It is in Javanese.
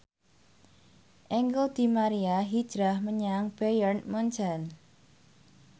Angel di Maria hijrah menyang Bayern Munchen